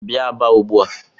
Bia Aba ugbu a!